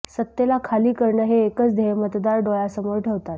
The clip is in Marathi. सत्तेला खाली करणं हे एकच ध्येय मतदार डोळ्यासमोर ठेवातात